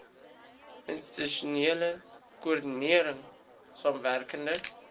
institusionele koördinering samewerkende